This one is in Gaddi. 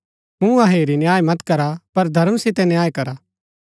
मुँहा हेरी न्याय मत करा पर धर्म सितै न्याय करा